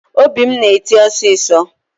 Obi m na-eti osisọ